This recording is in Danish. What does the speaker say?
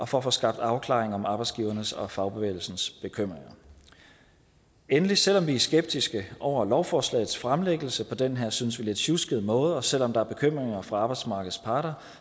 for at få skabt afklaring om arbejdsgivernes og fagbevægelsens bekymringer endelig selv om vi er skeptiske over lovforslagets fremsættelse på den her synes vi lidt sjuskede måde og selv om der er bekymringer fra arbejdsmarkedets parter